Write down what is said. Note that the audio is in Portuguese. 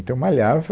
Então malhava.